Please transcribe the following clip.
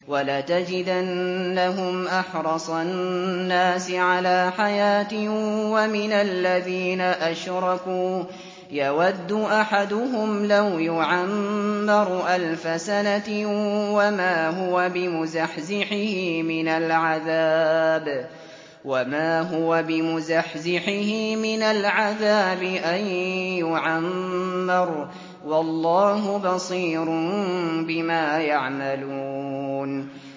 وَلَتَجِدَنَّهُمْ أَحْرَصَ النَّاسِ عَلَىٰ حَيَاةٍ وَمِنَ الَّذِينَ أَشْرَكُوا ۚ يَوَدُّ أَحَدُهُمْ لَوْ يُعَمَّرُ أَلْفَ سَنَةٍ وَمَا هُوَ بِمُزَحْزِحِهِ مِنَ الْعَذَابِ أَن يُعَمَّرَ ۗ وَاللَّهُ بَصِيرٌ بِمَا يَعْمَلُونَ